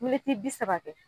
Miniti bi saba